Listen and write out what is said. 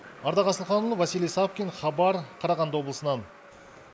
ардақ асылханұлы василий савкин хабар қарағанды облысынан